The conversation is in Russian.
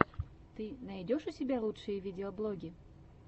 ты найдешь у себя лучшие видеоблоги